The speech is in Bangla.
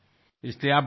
রিপু দমন ধন্যবাদ